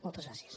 moltes gràcies